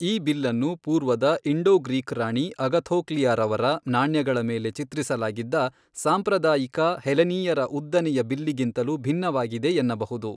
ಈ ಬಿಲ್ಲನ್ನು ಪೂರ್ವದ ಇಂಡೋ ಗ್ರೀಕ್ ರಾಣಿ ಅಗಥೋಕ್ಲಿಯಾರವರ ನಾಣ್ಯಗಳ ಮೇಲೆ ಚಿತ್ರಿಸಲಾಗಿದ್ದ ಸಾಂಪ್ರದಾಯಿಕ ಹೆಲೆನೀಯರ ಉದ್ದನೆಯ ಬಿಲ್ಲಿಗಿಂತಲೂ ಭಿನ್ನವಾಗಿದೆ ಎನ್ನಬಹುದು.